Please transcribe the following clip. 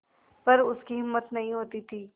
पर उसकी हिम्मत नहीं होती थी